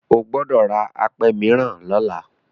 O gbọdọ̀ ra apẹ mìíràn lọ́la.